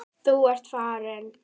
Þú ert farinn.